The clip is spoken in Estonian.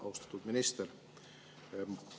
Austatud minister!